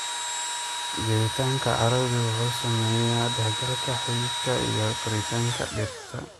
Jiritaanka carradu wuxuu saameeyaa dhexgalka xididka iyo koritaanka dhirta.